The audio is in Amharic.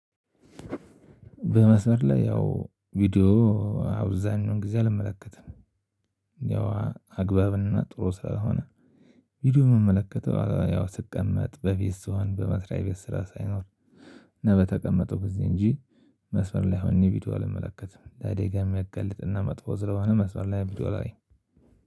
በመስመር ላይ ያው ቪዲዮ አብዛኛውን ጊዜ አልመለከትም። ያው አግባብና ጥሩ ስራ ሆነ ቪዲዮ የምመለከተው ያው ስቀመጥ፣ በቤት ስሆን፣ በመስሪያ ቤት ስራ ሳይኖር እና በተቀመጥሁ ጊዜ እንጂ መስመር ላይ ሆኘ ቪዲዮ አልመለከትም። ለአደጋ የሚያጋልጥ እና መጥፎ ስለሆነ መስመር ላይ ቪዲዮ አላይም።